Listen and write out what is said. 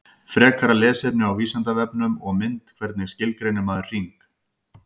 Frekara lesefni á Vísindavefnum og mynd Hvernig skilgreinir maður hring?